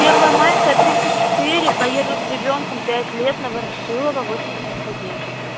первомайская тридцать четыре поеду с ребёнком пять лет на ворошилова восемьдесят один